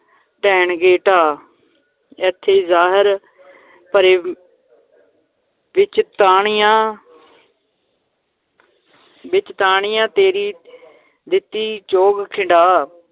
ਦੇਣਗੇ ਢਾ, ਏਥੇ ਜ਼ਹਰ ਭਰੇ ਵਿਚ ਦਾਣਿਆਂ ਵਿੱਚ ਦਾਣਿਆਂ ਤੇਰੀ ਦਿੱਤੀ ਚੋਗ ਖਿੰਡਾ